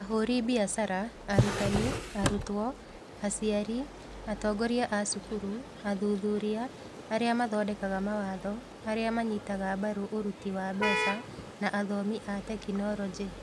ahuri biacara, arutani, arutwo, aciari, atongoria a cukuru, athuthuria, arĩa mathondekaga mawatho, arĩa manyitaga mbaru ũruti wa mbeca, na athomi a tekinoronjĩ